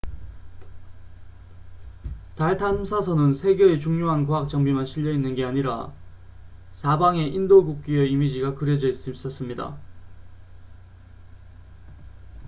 달 탐사선은 세 개의 중요한 과학 장비만 실려 있는 게 아니라 사방에 인도 국기의 이미지가 그려져 있었습니다